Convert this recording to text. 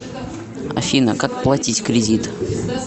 афина как платить кредит